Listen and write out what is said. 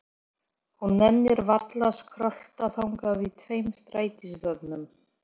Hún nennir varla að skrölta þangað í tveim strætisvögnum.